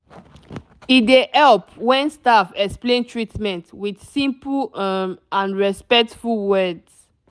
e dey help when staff explain treatment with simple um and respectful words